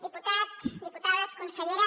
diputat diputades consellera